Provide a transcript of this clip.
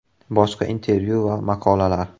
Boshqa intervyu va maqolalar: !